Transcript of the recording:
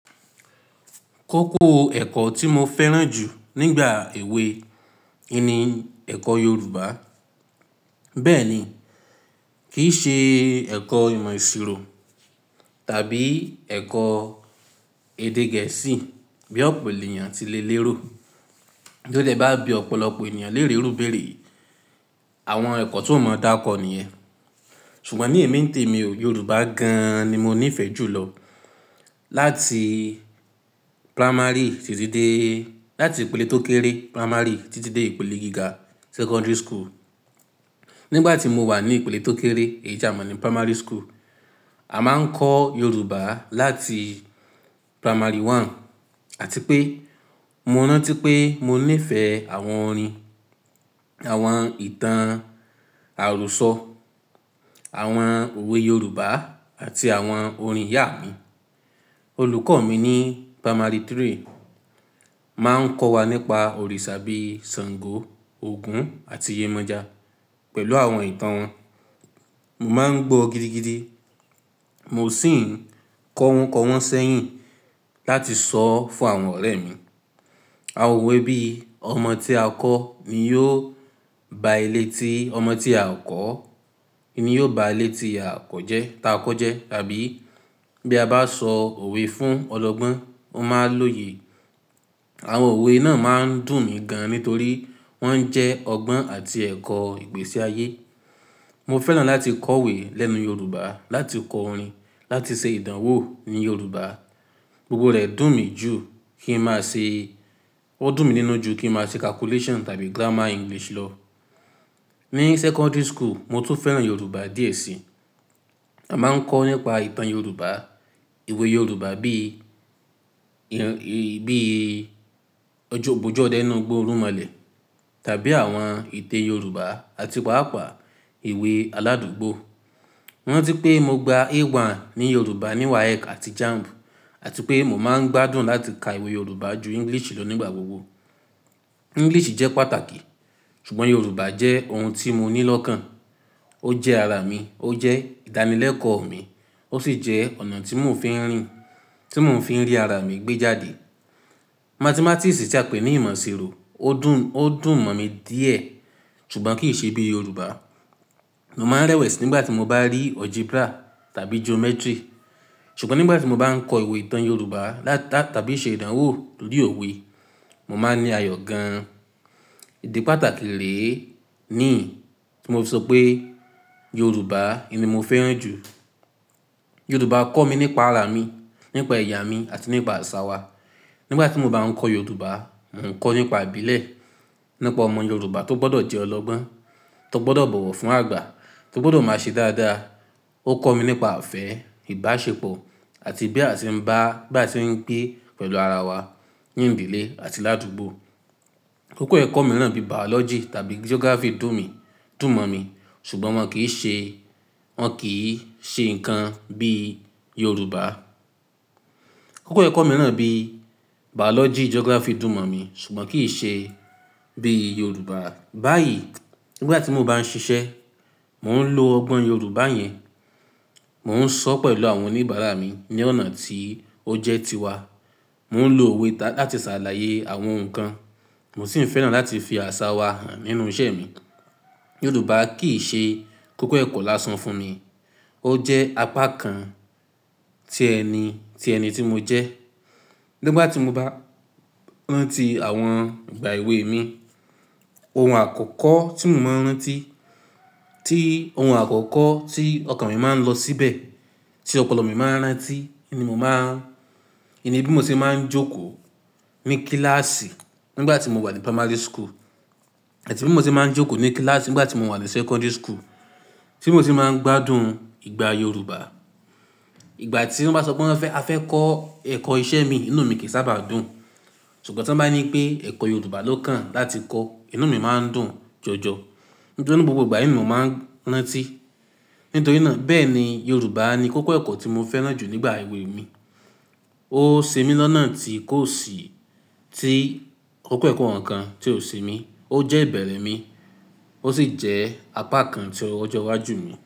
Kókó ẹ̀kọ́ tí mo fẹ́ràn jù nígbà èwe ni ẹ̀kọ́ Yorùbá. Bẹ́ẹ̀ ni, kì í ṣe ẹ̀kọ́ ìmọ̀-ìṣirò tàbí ẹ̀kọ́ èdè Gẹ̀ẹ́sì bí ọ̀pọ̀ ènìyàn ti lè lérò. Bí ó dẹ́ bá bí ọ̀pọ̀lọpọ̀ ènìyàn lérò bẹ́rẹ́, àwọn ẹ̀kọ́ tó mọ̀ọ́ dáko ni ẹ. Ṣùgbọ́n ní èmi tó mi ò, Yorùbá gan-an ni mo nífẹ̀ẹ́ jù lọ. Láti primary títí dé, láti ìpele tó kéré primary títí dé ìpele gíga secondary school. Nígbà tí mo wà ní ìpele tó kéré, èyí jamon ni primary school, a máa ń kọ́ Yorùbá láti primary one àti pé mo rántí pé mo nífẹ̀ẹ́ àwọn orin, àwọn ìtàn àròsọ, àwọn òwe Yorùbá àti àwọn orin ìyá mi. Olùkọ́ mi ní primary three máa ń kọ́ wa nípa òrìṣà bí i Sàngó, Ògún àti Yemọja pẹ̀lú àwọn ìtàn wọn. Mo máa ń gbọ́ gidigidi, mo sì ń kọ wọn kọ wọn sẹ́yìn láti sọ fún àwọn ọ̀rẹ́ mi. Àwọn òwe bí “Ọmọ tí a kọ́ ni yóò ba ilé tí, ọmọ tí a kọ́ ni yóò ba ilé tí a kọ́ jẹ́, tá a kọ́ jẹ́” tàbí “Bí a bá sọ òwe fún ọlọ́gbọ́n, ó máa lóye”. Àwọn òwe náà máa ń dùn mí gan-an nítorí wọ́n ń jẹ́ ọgbọ́n àti ẹ̀kọ́ ìpèsáyé. Mo fẹ́ràn láti kọ̀wé lẹ́nu Yorùbá, láti kọ orin, láti ṣe ìdánwò ní Yorùbá. Gbogbo rẹ̀ dùn mi jù kí n máa ṣe, ó dùn mi nínú jù kí n máa ṣe calculation tàbí grammar English lọ. Ní secondary school, mo tún fẹ́ràn Yorùbá díẹ̀ síi. A máa ń kọ́ nípa ìtàn Yorùbá, ìwé Yorùbá bí i, bí i Ojúbọjú ọ̀dẹ nínú igbó Orumọlẹ̀ tàbí àwọn ìtè Yorùbá àti pàápàá ìwé aládùgbò. Mo rántí pé mo gba A1 ní Yorùbá ní WAEK àti JAMB àti pé mo máa ń gbádùn láti ka ìwé Yorùbá ju English lọ nígbà gbogbo. English jẹ́ pàtàkì, ṣùgbọ́n Yorùbá jẹ́ ohun tí mo ní lọ́kàn. Ó jẹ́ ara mi, ó jẹ́ ìdánilẹ́kọ̀ọ́ mi, ó sì jẹ́ ọ̀nà tí mò ń fi ń rìn, tí mò ń fi ń rí ara mi gbé jáde. Mathematics tí a pè ní ìmọ̀-ìṣirò ó dùn, ó dùn mọ́ mi díẹ̀ ṣùgbọ́n kì í ṣe bí Yorùbá. Mo máa ń rẹ́wẹ̀sì nígbà tí mo bá rí algebra tàbí geometry. Ṣùgbọ́n nígbà tí mo bá ń kọ ìwé ìtàn Yorùbá ta-tàbí ṣe ìdánwò lórí òwe, mo máa ní ayọ̀ gan-an. Idi pàtàkì rè é ni tí mo fi sọ pé Yorùbá ni mo fẹ́ràn jù. Yorùbá kọ́ mi nípa ara mi, nípa ẹ̀yà mi àti nípa àṣà wa. Nígbà tí mo bá ń kọ́ Yorùbá, mò ń kọ́ nípa ìbílẹ̀, nípa ọmọ Yorùbá tó gbọ́dọ̀ jẹ́ ọlọ́gbọ́n, tó gbọ́dọ̀ bọ̀wọ̀ fún àgbà, tó gbọ́dọ̀ máa ṣe dáadáa. Ó kọ́ mi nípa àfẹ́, ìbáṣepọ̀ àti bí a ṣe ń bá, bí a ṣe ń gbé pẹ̀lú ara wa ní ìbílẹ̀ àti ládùgbò. Kókó ẹ̀kọ́ mìíràn bí biology tàbí geography dùn mi, dùn mọ́ mi ṣùgbọ́n wọ́n kì í ṣe, wọ́n kì í ṣe nǹkan bí Yorùbá. Kókó ẹ̀kọ́ mìíràn bí biology, geography dùn mọ́ mi ṣùgbọ́n kì í ṣe bí Yorùbá. Báyìí, nígbà tí mo bá ń ṣiṣẹ́, mò ń lo ọgbọ́n Yorùbá yẹn. Mò ń sọ́ pẹ̀lú àwọn oníbàárà mi ní ọ̀nà tí ó jẹ́ tiwa. Mò ń lo òwe láti ṣàlàyé àwọn nǹkan. Mo sì ń fẹ́ràn láti fi àṣà wa hàn nínú iṣẹ́ mi. Yorùbá kì í ṣe kókó ẹ̀kọ́ lásán fún mi, ó jẹ́ apá kan tí ẹni, tí ẹni tí mo jẹ́. Nígbà tí mo bá ń rántí àwọn ìgbà èwe mi, ohun àkọ́kọ́ tí mò ń rántí, tí ohun àkọ́kọ́ tí ọkàn mi máa ń lọ síbẹ̀, tí ọpọlọ mi máa ń rántí ni mò máa, níbí mo ti máa ń jókòó ní kíláàsì nígbà tí mo wà ní primary school àti bí mo ti máa ń jókòó ní kíláàsì nígbà tí mo wà ní secondary school, tí mo ti máa ń gbádùn ìgbà Yorùbá. Ìgbà tí wọ́n bá sọ pé wọ́n fẹ́, a fẹ́ kọ́ ẹ̀kọ́ iṣẹ́ mi, inú mi kì í sábà dùn. Ṣùgbọ́n tí wọ́n bá ní pé ẹ̀kọ́ Yorùbá ló kàn láti kọ́, inú mi máa ń dùn jọjọ nítorí gbogbo ìgbà yìí ni mò ń rántí. Nítorí náà bẹ́ẹ̀ ni Yorùbá ni kókó ẹ̀kọ́ tí mo fẹ́ràn jù nígbà èwe mi. Ó se'mi lọ́nà tí kò sì, tí kókó ẹ̀kọ́ àwọn nǹkan tí ò se'mi. Ó jẹ́ ìbẹ̀rẹ̀ mi, ó sì jẹ́ apá kan tí ọjọ́ iwájú mi.